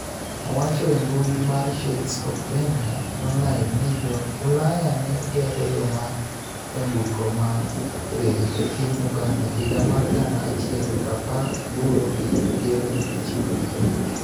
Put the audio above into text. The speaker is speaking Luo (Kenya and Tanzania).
Owacho e mbui mar Shades of Benga Online ni jo Ulaya ne gero yo mar nyamburko mar reru e piny Uganda higa mar gana achiel prapar aboro gi piro ochiko gi abich